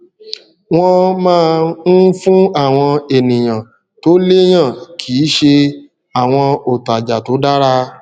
wọn máa ń fún àwọn ènìyàn tó léyàn kì í ṣe àwọn òtàjà tó dára